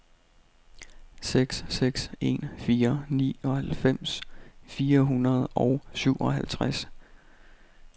seks seks en fire nioghalvfems fire hundrede og syvoghalvtreds